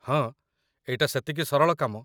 ହଁ, ଏଇଟା ସେତିକି ସରଳ କାମ